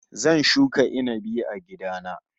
Zan shuka inabi a gida na